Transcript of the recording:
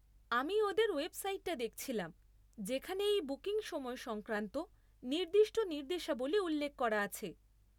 আমি ওদের ওয়েবসাইটটা দেখছিলাম যেখানে এই বুকিং সময় সংক্রান্ত নির্দিষ্ট নির্দেশাবলী উল্লেখ করা আছে।